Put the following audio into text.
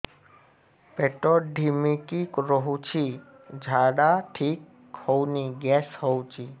ପେଟ ଢିମିକି ରହୁଛି ଝାଡା ଠିକ୍ ହଉନି ଗ୍ୟାସ ହଉଚି